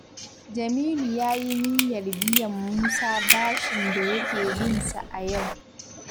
Jamilu ya yi niyyar biyan Musa bashin da yake bin sa a yau.